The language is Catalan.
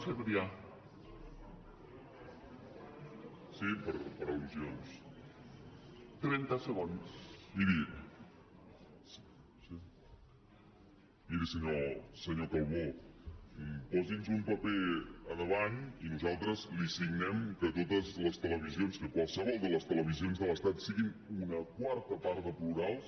sí per al miri senyor calbó posi’ns un paper davant i nosaltres li signem que totes les televisions que qualsevol de les televisions de l’estat siguin una quarta part de plurals